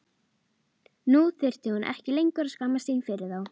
Nú þurfti hún ekki lengur að skammast sín fyrir þá.